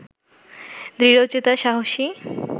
দৃঢ়চেতা সাহসী